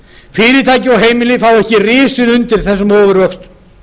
fyrirtæki og heimili fá ekki risið undir þessum ofurvöxtum